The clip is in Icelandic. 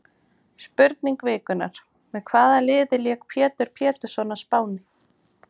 Spurning vikunnar: Með hvaða liði lék Pétur Pétursson á Spáni?